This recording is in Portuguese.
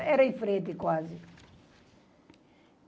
Era em frente quase.